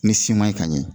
Ni siman ye ka ɲɛ